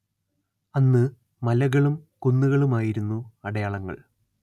അന്ന്‌ മലകളും കുന്നുകളുമായിരുന്നു അടയാളങ്ങൾ